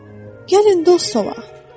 Gəlin dost olaq.